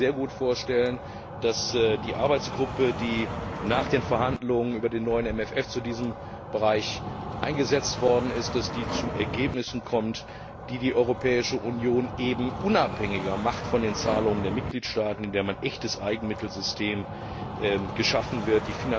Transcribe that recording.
Ich kann mir sehr gut vorstellen, dass die Arbeitsgruppe, die nach den Verhandlungen über den neuen MFF zu diesem Bereich eingesetzt worden ist, zu Ergebnissen kommt, die die Europäische Union unabhängiger von den Zahlungen der Mitgliedstaaten machen, indem ein echtes Eigenmittelsystem geschaffen wird.